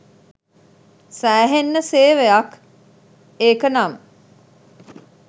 සෑහෙන්න සේවයක් ඒක නම්